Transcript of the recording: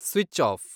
switch off